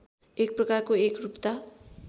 एक प्रकारको एकरूपता